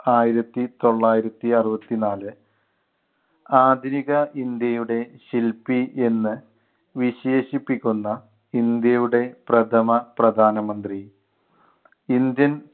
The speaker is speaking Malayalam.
ആയിരത്തിത്തൊള്ളായിരത്തി അറുപത്തിനാല് ആധുനിക ഇന്ത്യയുടെ ശില്പി എന്ന് വിശേഷിപ്പിക്കുന്ന ഇന്ത്യയുടെ പ്രഥമ പ്രധാനമന്ത്രി. ഇന്ത്യൻ